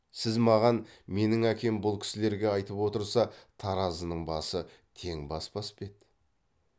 сіз маған менің әкем бұл кісілерге айтып отырса таразының басы тең баспас па еді